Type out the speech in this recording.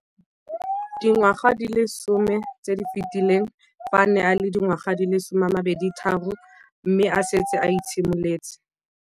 Dingwaga di le 10 tse di fetileng, fa a ne a le dingwaga di le 23 mme a setse a itshimoletse.